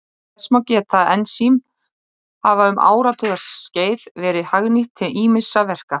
Þess má geta að ensím hafa um áratugaskeið verið hagnýtt til ýmissa verka.